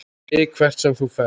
ÞIG HVERT SEM ÞÚ FERÐ.